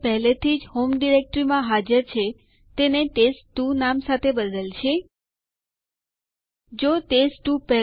તારીખ કે જે પર યુઝર અકાઉન્ટ નિષ્ક્રિય છે તે બતાવો